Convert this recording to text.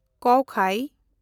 ᱠᱩᱣᱟᱠᱷᱟᱭ